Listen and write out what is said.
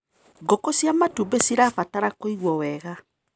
Ngũkũ cia matumbĩ cirabatara kũiguo wega.